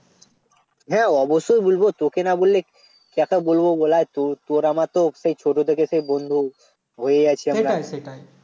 হ্যাঁ অবশ্যই বলব তোকে না বললে কাকে বলব বল তোর~ তোর আমারতো সেই ছোট থেকে বন্ধু হয়ে আছি আমরা